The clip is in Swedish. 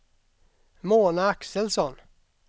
Mona Axelsson